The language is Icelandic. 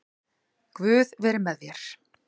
Guð veri þér.